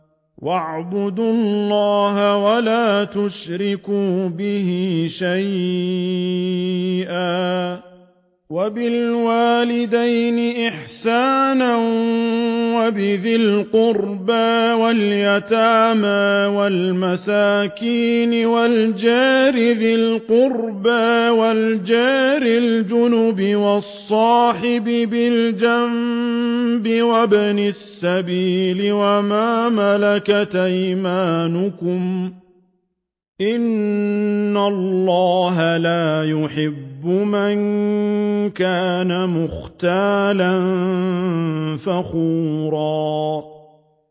۞ وَاعْبُدُوا اللَّهَ وَلَا تُشْرِكُوا بِهِ شَيْئًا ۖ وَبِالْوَالِدَيْنِ إِحْسَانًا وَبِذِي الْقُرْبَىٰ وَالْيَتَامَىٰ وَالْمَسَاكِينِ وَالْجَارِ ذِي الْقُرْبَىٰ وَالْجَارِ الْجُنُبِ وَالصَّاحِبِ بِالْجَنبِ وَابْنِ السَّبِيلِ وَمَا مَلَكَتْ أَيْمَانُكُمْ ۗ إِنَّ اللَّهَ لَا يُحِبُّ مَن كَانَ مُخْتَالًا فَخُورًا